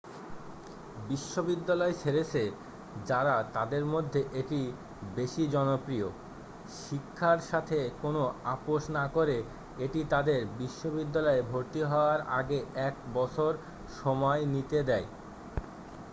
বিদ্যালয় ছেড়েছে যারা তাদের মধ্যে এটি বেশী জনপ্রিয় শিক্ষার সাথে কোন আপস না করে এটি তাদের বিশ্ববিদ্যালয়ে ভর্তি হওয়ার আগে এক বছর সময় নিতে দেয়